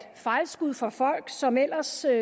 fejlskud fra folk som ellers siger at